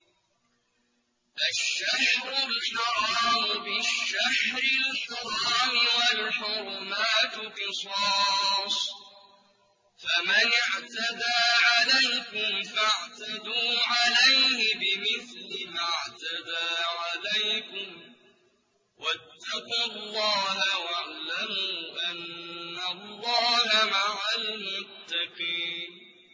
الشَّهْرُ الْحَرَامُ بِالشَّهْرِ الْحَرَامِ وَالْحُرُمَاتُ قِصَاصٌ ۚ فَمَنِ اعْتَدَىٰ عَلَيْكُمْ فَاعْتَدُوا عَلَيْهِ بِمِثْلِ مَا اعْتَدَىٰ عَلَيْكُمْ ۚ وَاتَّقُوا اللَّهَ وَاعْلَمُوا أَنَّ اللَّهَ مَعَ الْمُتَّقِينَ